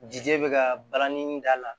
Jija be ka balani da la